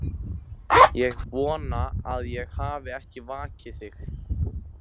Ég vona ég hafi ekki vakið þig.